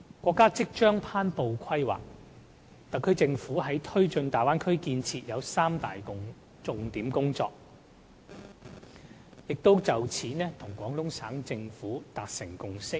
國家即將頒布《規劃》，特區政府在推進大灣區建設方面，有三大重點工作，並已就此與廣東省政府達成共識。